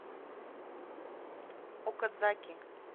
окадзаки